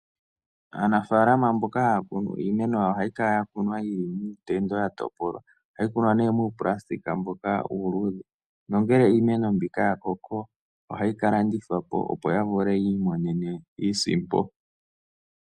Aanafaalama mboka haa kunu iimeno yawo, oha yi kala ya kunwa ya tendwa, ya topolwa. Oha yi kunwa ne nuupulastika mboka uuluudhe, nongele iimeno mbika ya koko, oha yi ka landithwa po, opo ya vule yi imonene iisimpo.